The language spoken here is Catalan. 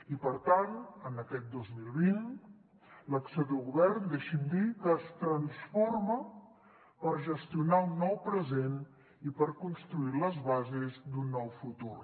i per tant en aquest dos mil vint l’acció de govern deixi’m dir que es transforma per gestionar un nou present i per construir les bases d’un nou futur